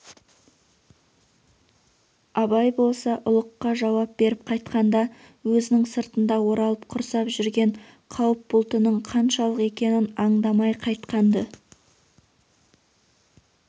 абай болса ұлыққа жауап беріп қайтқанда өзінің сыртында оралып құрсап жүрген қауіп бұлтының қаншалық екенін андамай қайтқан-ды